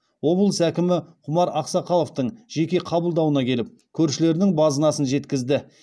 облыс әкімі құмар ақсақаловтың жеке қабылдауына келіп көршілерінің базынасын жеткізді